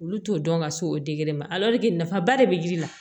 Olu t'o dɔn ka se o ma nafaba de bɛ yiri la